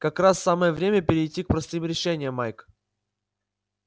как раз самое время перейти к простым решениям майк